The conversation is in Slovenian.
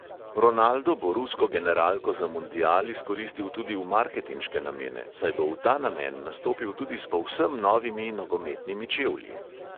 Ronaldo bo rusko generalko za mundial izkoristil tudi v marketinške namene, saj bo v ta namen nastopil tudi s povsem novimi nogometnimi čevlji.